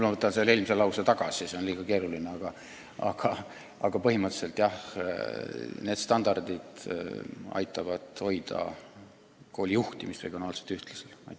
Ma võtan eelmise lause tagasi, see on liiga keeruline, aga põhimõtteliselt need standardid aitavad hoida koolide juhtimise regionaalselt ühtlasena.